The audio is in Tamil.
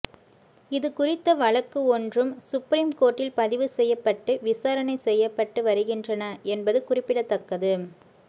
இது குறித்த வழக்கு ஒன்றும் சுப்ரீம் கோர்ட்டில் பதிவு செய்யப்பட்டு விசாரணை செய்யப்பட்டு வருகின்றன என்பது குறிப்பிடத்தக்கது